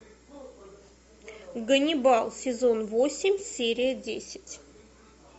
ганнибал сезон восемь серия десять